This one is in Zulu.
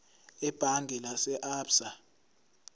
ebhange lase absa